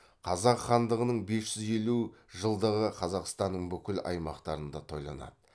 қазақ хандығының бес жүз елу жылдығы қазақстанның бүкіл аймақтарында тойланады